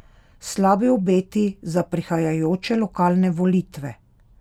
Slabi obeti za prihajajoče lokalne volitve?